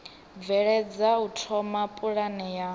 bveledza u thoma pulane ya